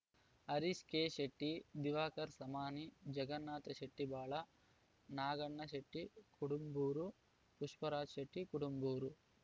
Harish K Shetty Diwakar Samani Jagannath Shetty Bala Naganna Shetty Kudumbur Pushparaj Shetty Kudumbur